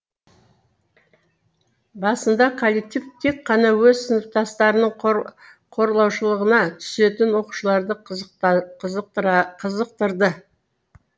басында коллектив тек қана өз сыныптастарының қорлаушылығына түсетін оқушыларды қызықтырды